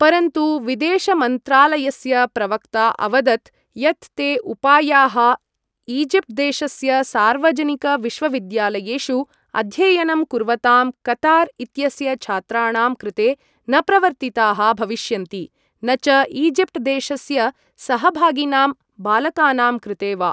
परन्तु विदेशमन्त्रालयस्य प्रवक्ता अवदत् यत् ते उपायाः ईजिप्ट् देशस्य सार्वजनिकविश्वविद्यालयेषु अध्ययनं कुर्वतां कतार् इत्यस्य छात्राणां कृते न प्रवर्तिताः भविष्यन्ति, न च ईजिप्ट् देशस्य सहभागिनां बालकानां कृते वा।